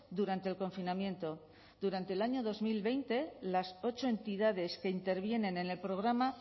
durante el confinamiento durante el año dos mil veinte las ocho entidades que intervienen en el programa